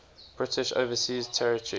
british overseas territory